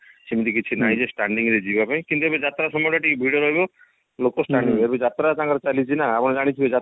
ସେମିତିତ କିଛି ନାଇଁ ଯେ standing ରେ ଯିବା ପାଇଁ କିନ୍ତୁ ଯାତ୍ରା ସମୟ ଟା ଟିକେ ଭିଡ ରହିବ ଲୋକ standing ହେବେ ଏବେ ଯାତ୍ରା ତାଙ୍କର ଚାଲିଛି ନା ଆପଣ ଜାଣିଥିବେ ଯାତ୍ରା